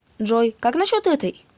джой как насчет этой